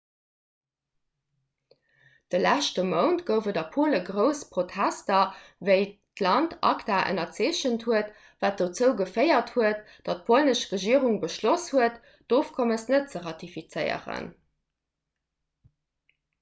de leschte mount gouf et a pole grouss protester wéi d'land acta ënnerzeechent huet wat dozou geféiert huet datt d'polnesch regierung beschloss huet d'ofkommes net ze ratifizéieren